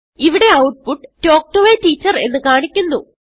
ഇവിടെ ഔട്ട്പുട്ട് തൽക്ക് to a Teacherഎന്ന് കാണിക്കുന്നു